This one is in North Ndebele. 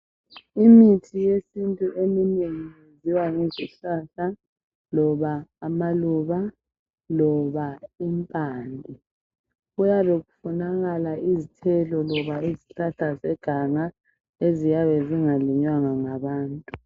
Imithi yesintu eminengi eyenziwa yizihlahla, loba amaluba ,loba impande. Kuyabe kufunakala izithelo loba izihlahla zeganga eziyabe zingalinywanga ngabantu.